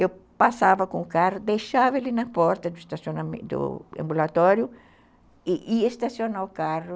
Eu passava com o carro, deixava ele na porta do ambulatório e ia estacionar o carro.